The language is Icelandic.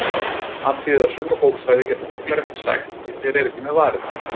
Athugið að suma bókstafi geta fuglar ekki sagt því þeir eru ekki með varir.